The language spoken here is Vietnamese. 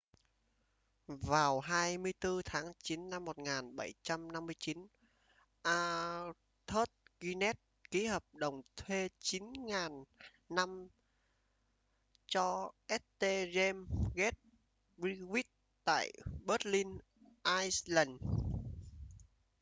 vào 24 tháng chín năm 1759 arthur guinness ký hợp đồng thuê 9.000 năm cho st james' gate brewery tại dublin ireland